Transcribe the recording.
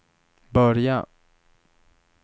börja